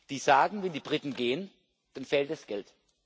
die sagen Wenn die Briten gehen, dann fehlt das Geld.